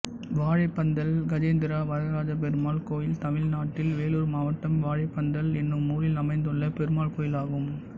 வாழைப்பந்தல் கஜேந்திர வரதராஜபெருமாள் கோயில் தமிழ்நாட்டில் வேலூர் மாவட்டம் வாழைப்பந்தல் என்னும் ஊரில் அமைந்துள்ள பெருமாள் கோயிலாகும்